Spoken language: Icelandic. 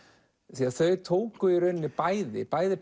þau tóku í rauninni bæði bæði